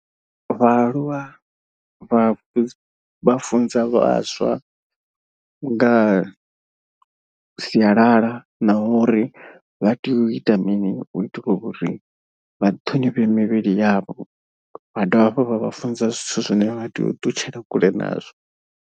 Vhaaluwa vha vha funza vhaswa nga sialala na uri vha tea u ita mini u itela uri vha ṱhonifhe mivhili yavho. Vha dovha hafhu vha vha funza zwithu zwine vha tea u ṱutshela kule nazwo.